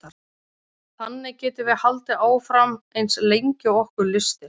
Þannig getum við haldið áfram eins lengi og okkur lystir.